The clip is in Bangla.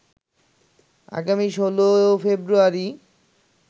আগামী ১৬ ফেব্রুয়ারি